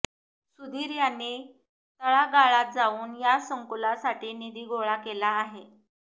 सुधीर यांनी तळागाळात जाऊन या संकुलासाठी निधी गोळा केला आहे